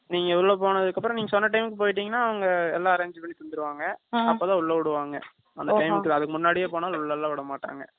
நீங்க உள்ள போனதுக்கு அப்புறம், நீங்க சொன்ன time க்கு போயிட்டீங்கன்னா, அவங்க எல்லா arrange பண்ணி தந்துருவாங்க. ஆ, அப்பதான் உள்ள விடுவாங்க. அந்த time க்கு, அதுக்கு முன்னாடியே போனாலும், உள்ள எல்லாம் விடமாட்டாங்க.